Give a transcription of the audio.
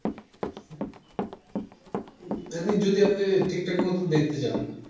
উম এমনি যদি আপনি ঠিকঠাক মতো দেখতে চাই।